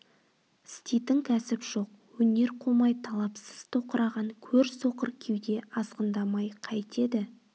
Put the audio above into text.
істейтін кәсіп жоқ өнер қумай талапсыз тоқыраған көр соқыр кеуде азғындамай қайтеді